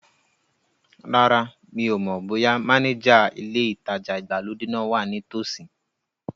Rárá, mi ò mọ̀ bóyá mánéjà ilé ìtajà ìgbàlódé náà wa ní tòsí